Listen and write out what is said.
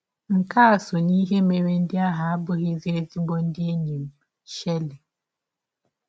Nke a sọ n’ihe mere ndị ahụ abụghịzi ezịgbọ ndị enyi m. ”— Shirley.